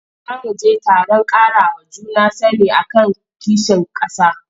Za mu je taron ƙarawa juna sani a kan kishin ƙasa.